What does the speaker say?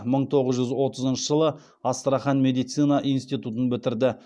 мың тоғыз жүз отызыншы жылы астрахан медицина институтын бітірді